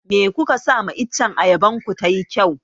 Me kuka sa ma iccen ayaban ku tayi kyau?